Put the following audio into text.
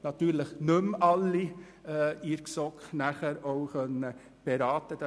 Selbstverständlich konnten wir dann nicht mehr alle Anträge in der GSoK beraten.